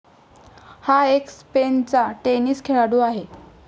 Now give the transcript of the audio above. हा एक स्पेनचा टेनिस खेळाडू आहे.